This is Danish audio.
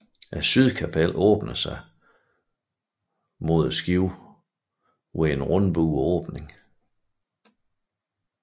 Sydkapellet åbner sig mod skibet ved en rundbuet åbning